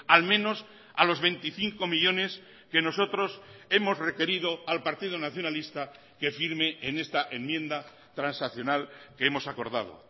al menos a los veinticinco millónes que nosotros hemos requerido al partido nacionalista que firme en esta enmienda transaccional que hemos acordado